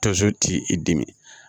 Tonso t'i dimi